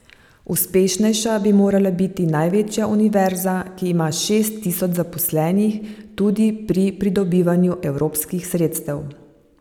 Uspešnejša bi morala biti največja univerza, ki ima šest tisoč zaposlenih, tudi pri pridobivanju evropskih sredstev.